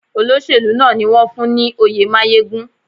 Olóṣèlú náà ni wón fún ní oyè máyégún.